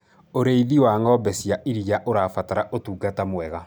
ũrĩithi wa ng'ombe cia iria ũrabatara utungata mwega